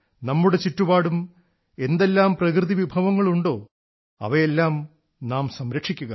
നമ്മുടെ ചുറ്റുപാടും എന്തെല്ലാം പ്രകൃതി വിഭവങ്ങളുണ്ടോ അവയെയെല്ലാം നാം സംരക്ഷിക്കുക